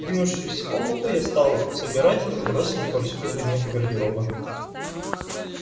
двинувшись в комнату я стал собирать разбросанные повсюду предметы гардероба